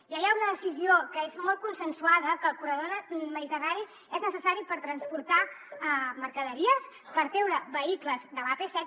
ja hi ha una decisió que és molt consensuada que el corredor mediterrani és necessari per transportar mercaderies per treure vehicles de l’ap set